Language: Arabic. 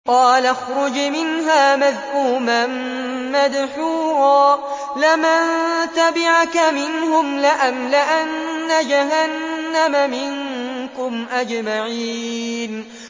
قَالَ اخْرُجْ مِنْهَا مَذْءُومًا مَّدْحُورًا ۖ لَّمَن تَبِعَكَ مِنْهُمْ لَأَمْلَأَنَّ جَهَنَّمَ مِنكُمْ أَجْمَعِينَ